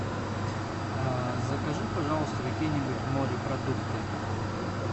закажи пожалуйста какие нибудь морепродукты